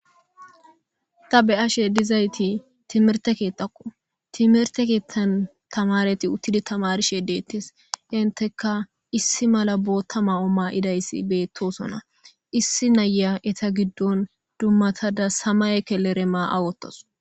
ta be7ashe dizayti timirte keexaqo timirte keettan tamareti uttidi tamarishe deettes inteka issi mala bootta ma7o ma7idayssi beettosona issi naya eta giddon dummatada sama ekeleremaa awotos.